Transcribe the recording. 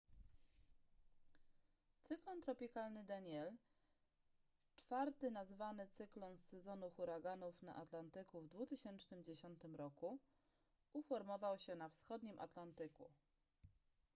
cyklon tropikalny danielle czwarty nazwany cyklon z sezonu huraganów na atlantyku w 2010 roku uformował się na wschodnim atlantyku